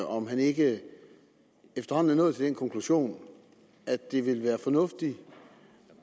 om han ikke efterhånden er nået til den konklusion at det ville være fornuftigt